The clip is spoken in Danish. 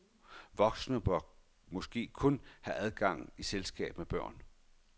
Voksne bør måske kun have adgang i selskab med børn.